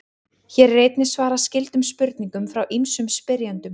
Hér er einnig svarað skyldum spurningum frá ýmsum spyrjendum.